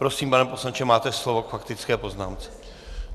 Prosím, pane poslanče, máte slovo k faktické poznámce.